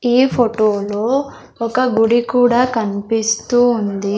ఈ ఫోటోలో ఒక గుడి కూడా కనిపిస్తూ ఉంది.